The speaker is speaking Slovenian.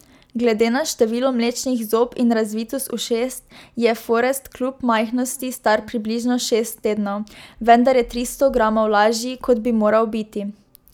Glede na število mlečnih zob in razvitost ušes je Forest kljub majhnosti star približno šest tednov, vendar je tristo gramov lažji, kot bi moral biti.